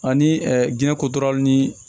Ani diɲɛ kototaraw ni